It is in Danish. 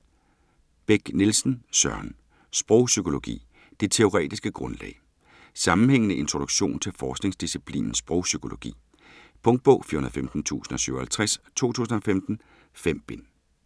Beck Nielsen, Søren: Sprogpsykologi: det teoretiske grundlag Sammenhængende introduktion til forskningsdisciplinen sprogpsykologi. Punktbog 415057 2015. 5 bind.